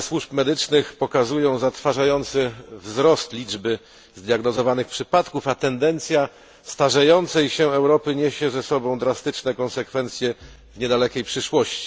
Dane służb medycznych pokazują zatrważający wzrost liczby zdiagnozowanych przypadków, a tendencja starzejącej się Europy niesie ze sobą drastyczne konsekwencje w niedalekiej przyszłości.